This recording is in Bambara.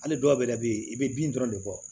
Hali dɔw yɛrɛ bɛ yen i bɛ bin dɔrɔn de bɔ